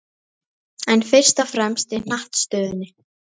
En fyrst og fremst í hnattstöðunni.